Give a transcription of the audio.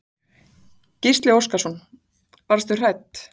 Gísli Óskarsson: Varðstu hrædd?